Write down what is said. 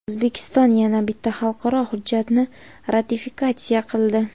O‘zbekiston yana bitta xalqaro hujjatni ratifikatsiya qildi.